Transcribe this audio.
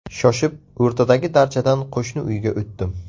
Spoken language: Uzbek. Shoshib o‘rtadagi darchadan qo‘shni uyga o‘tdim.